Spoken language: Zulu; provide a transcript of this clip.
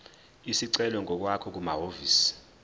isicelo ngokwakho kumahhovisi